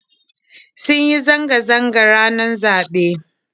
Sun yi zanga zanga ranar zaɓe